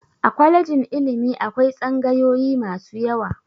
A kwalejin ilimi akwai tsagayoyi masu yawa.